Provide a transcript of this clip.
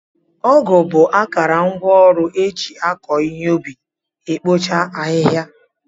Ọgụ bụ akarangwaọrụ eji akụ ihe ubi, ekpochasi ahịhịa.